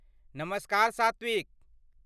नमस्कार सात्विक!